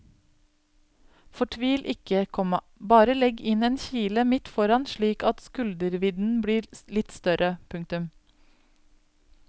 Fortvil ikke, komma bare legg inn en kile midt foran slik at skuldervidden blir litt større. punktum